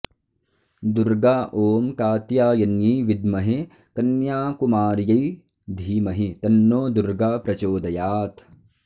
दुर्गा ॐ कात्यायन्यै विद्महे कन्याकुमार्यै धीमहि तन्नो दुर्गा प्रचोदयात्